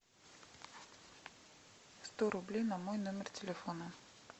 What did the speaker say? сто рублей на мой номер телефона